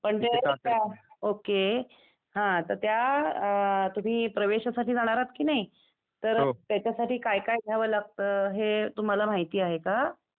Okay. हं त्या तिथे तुम्ही प्रवेशासाठी जाणार आहेत कि नाही, तर त्याच्यासाठी काय काय घ्यावं लागतं ते तुम्हाला माहिती आहे का?